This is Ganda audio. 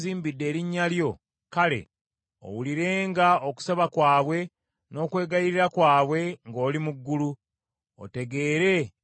kale owulirenga okusaba kwabwe n’okwegayirira kwabwe ng’oli mu ggulu, otegeere ensonga zaabwe.